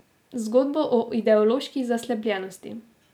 Zgodbo o ideološki zaslepljenosti.